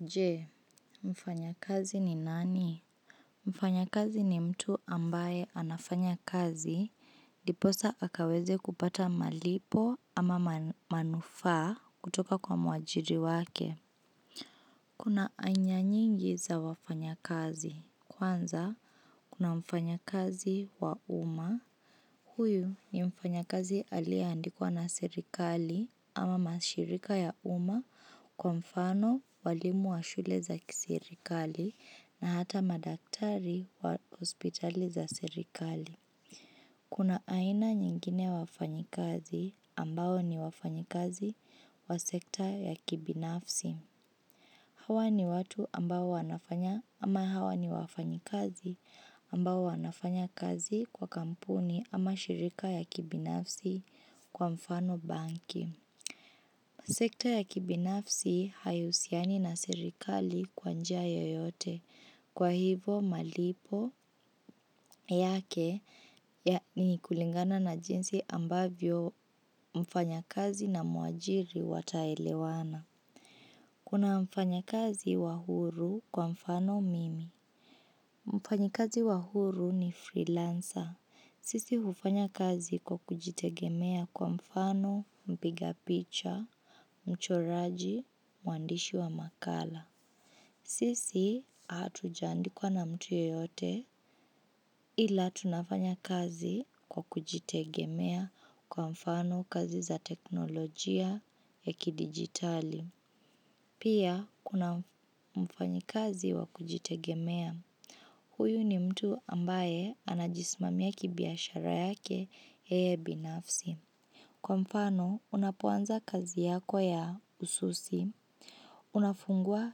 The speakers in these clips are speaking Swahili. Je, mfanyakazi ni nani? Mfanyakazi ni mtu ambaye anafanyakazi ndipo sa akaweze kupata malipo ama manufaa kutoka kwa mwajiri wake. Kuna aina nyingi za wafanyakazi. Kwanza kuna mfanyakazi wa umma huyu ni mfanyakazi alieandikwa na serikali ama mashirika ya umma kwa mfano walimu wa shule za serikali na hata madaktari wa hospitali za serikali. Kuna aina nyingine ya wafanyakazi ambao ni wafanyakazi wa sekta ya kibinafsi. Huwa ni watu ambao ama hawa ni wafanyakazi ambao wanafanya kazi kwa kampuni ama mashirika ya kibinafsi kama bank sekta ya kibinafsi haihusiani na serikali kwa njia yoyote kwa hivo malipo yake ni kulingana na jinsi ambavyo mfanyakazi na muajiri wataelewana. Kuna mfanyakazi wa huru kwa mfano mimi. Mfanyakazi wa huru ni freelancer sisi hufanya kazi kwa kujitegemea kwa mfano mpiga picha, mchoraji, mwandishi wa makala sisi hatujaandikwa na mtu yeyote ila tunafanya kazi kwa kujitegemea kwa mfano kazi za kiteknolojia za kidigitali pia, kuna mfanyakazi wa kujitegemea. Huyu ni mtu ambaye anajismamia kibiashara yake yeye binafsi. Kwa mfano, unapoanza kazi yako ya ususi. Unafungua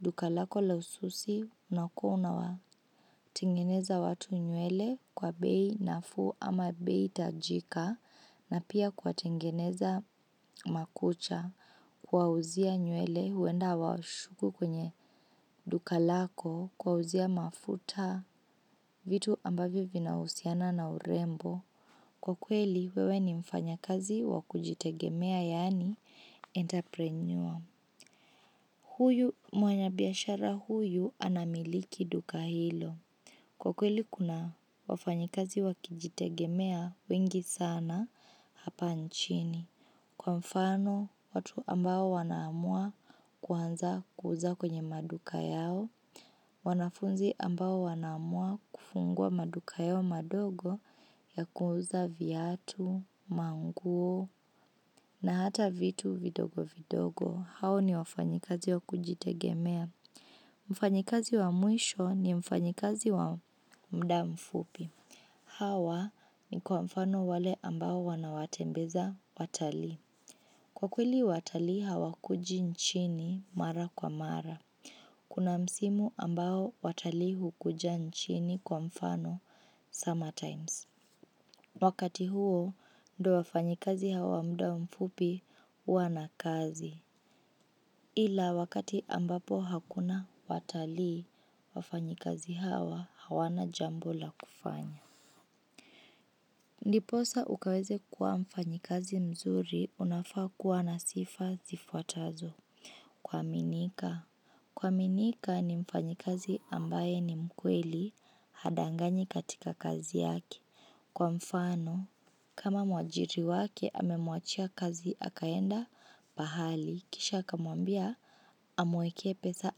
duka lako la ususi unakuwa unawatengeneza watu nywele kwa bei nafuu ama bei hitajika na pia kuwatengeneza makucha kuwauzia nywele huenda wa ushuku kwenye duka lako kuwauzia mafuta vitu ambavyo vinahusiana na urembo. Kwa kweli, wewe ni mfanyakazi wakujitegemea yani enterpreneuer. Huyu mfanyabiashara huyu anamiliki duka hilo. Kwa kweli, kuna wafanyakazi wakujitegemea wengi sana hapa nchini. Kwa mfano, watu ambao wanaamua kuanza kuuza kwenye maduka yao, wanafunzi ambao wanaamua kufungua maduka yao madogo ya kuuza viatu, manguo, na hata vitu vidogo vidogo. Hao ni wafanyakazi wa kujitegemea. Mfanyakazi wa mwisho ni mfanyikazi wa mda mfupi. Hawa ni kwa mfano wale ambao wanawatembeza watalii. Kwa kweli watalii hawakuji nchini mara kwa mara. Kuna msimu ambao watalii hukuja nchini kwa mfano summer times. Wakati huo ndo wafanyakazi hawa mda mfupi wana kazi. Ila wakati ambapo hakuna watalii wafanyakazi hawa hawana jambola kufanya. Ndipo sa ukaweze kuwa mfanyikazi mzuri unafaa kuwa na sifa zifuatazo. Kuaminika. Kuaminika ni mfanyakazi ambaye ni mkweli hadanganyi katika kazi yake. Kwa mfano, kama mwajiri wake amemuachia kazi akaenda pahali, kisha akamuambia amuwekee pesa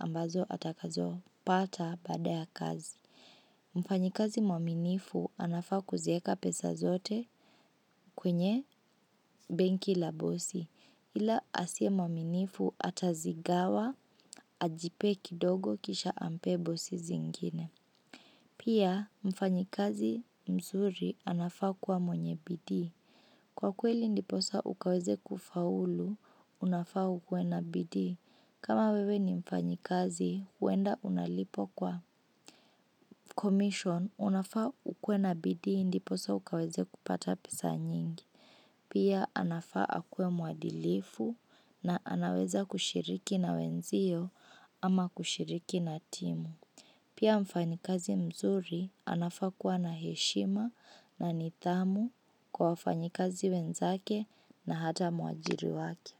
ambazo atakazopata baada ya kazi. Mfanyakazi mwaminifu anafaa kuziweka pesa zote kwenye benki ya bosi ila asiye mwaminifu atazigawa ajipe kidogo kisha ampe bosi zingine pia mfanyakazi mzuri anafaa kuwa mwenye bidii. Kwa kweli ndipo sa ukaweze kufaulu unafaa ukuwe na bidii. Kama wewe ni mfanyakazi, huenda unalipwa kwa komisheni, unafaa ukuwe na bidii, ndipo sa ukaweze kupata pesa nyingi. Pia anafaa akuwe muadilifu na anaweza kushiriki na wenzio ama kushiriki na timu. Pia mfanyakazi mzuri, anafaa kuwa na heshima na nidhamu kwa wafanyakazi wenzake na hata mwajiri wake.